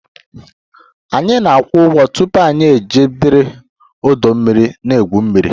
Anyị na-akwụ ụgwọ tupu anyị ejiri ọdọ mmiri na-egwu mmiri